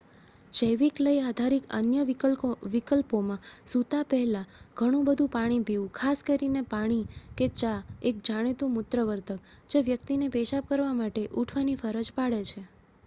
જૈવિક લય આધારિત અન્ય વિકલ્પોમાં સૂતા પહેલા ઘણું બધું પાણી પીવું ખાસ કરીને પાણી કે ચા એક જાણીતું મૂત્ર વર્ધક જે વ્યક્તિને પેશાબ કરવા માટે ઉઠવાની ફરજ પાડે છે